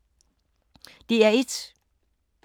DR1